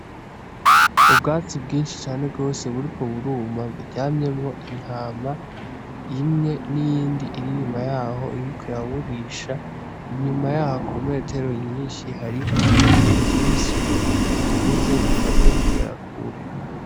Ubwatsi bwishi cane gose buriko buruma buryamyemwo intama imwe n'iyindi iri inyuma yaho iriko iraburisha inyuma yaho ku metero nyishi hariho ibiti vyishi bikuze bimaze kugera kure.